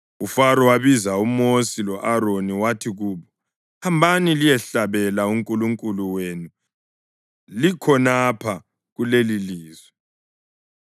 UFaro wabiza uMosi lo-Aroni. Wathi kubo, “Hambani liyehlabela uNkulunkulu wenu likhonapha kulelilizwe.”